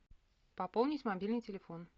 пополнить мобильный телефон